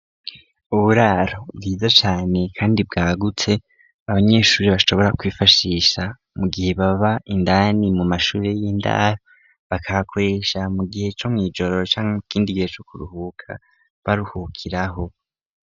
Uburaro bwiza cyane kandi bwagutse abanyeshure bashobora kwifashisha mu gihe baba indani mu mashure y'indani bakahakoresha mu gihe co mw’ijoro canke ikindi gihe co kuruhuka baruhukiraho.